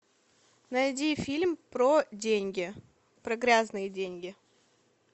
найди фильм про деньги про грязные деньги